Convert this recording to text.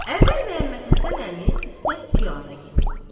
Əvvəl Məhəmməd Həsən əmi istədi piyada getsin.